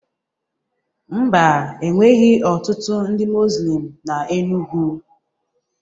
Ḿbà, enweghị ọtụtụ ndị muzlim na Enugwu